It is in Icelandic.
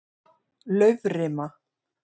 Laufrima